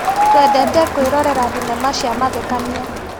Twendete kwĩrorera thinema cia mathekania.